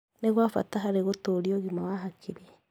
Nĩ gwa bata harĩ gũtũũria ũgima wa hakiri.